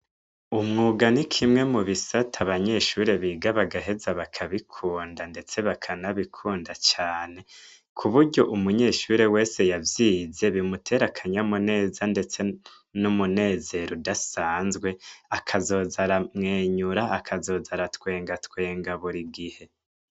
Umwuga nikimwe mubisata abanyeshure biga bagaheza bakabikunda ndetse bakanabikunda cane kuburyo umunyeshure wese yavyize bimutera akanyamuneza ndetse n' umunezero udasanzwe akazoza aramwenyerura akazoza aratwenga twenga burigihe.